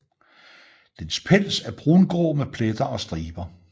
Dens pels er brungrå med pletter og striber